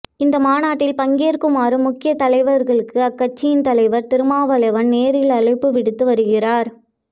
இந்த மாநாட்டில் பங்கேற்குமாறு முக்கிய தலைவர்களுக்கு அக்கட்சியின் தலைவர் திருமாவளவன் நேரில் அழைப்பு விடுத்து வருகிறார்